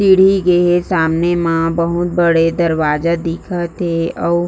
सीढ़ी गे हे सामने म बहुत बड़े दरवाज़ा दिखत हे अऊ--